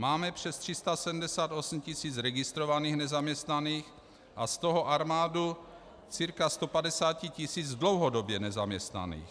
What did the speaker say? Máme přes 378 tisíc registrovaných nezaměstnaných a z toho armádu cca 150 tisíc dlouhodobě nezaměstnaných.